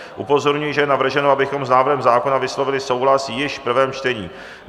Upozorňuji, že je navrženo, abychom s návrhem zákona vyslovili souhlas již v prvém čtení.